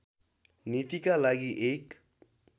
नीतिका लागि एक